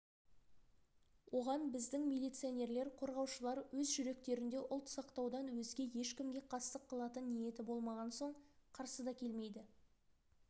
оған біздің милиционерлер қорғаушылар өз жүректерінде ұлт сақтаудан өзге ешкімге қастық қылатын ниеті болмаған соң қарсы да келмейді